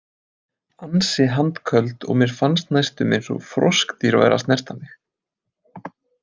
Ansi handköld og mér fannst næstum eins og froskdýr væri að snerta mig.